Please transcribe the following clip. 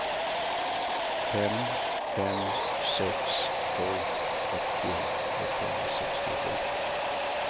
fem fem sex två åttio etthundrasextiosju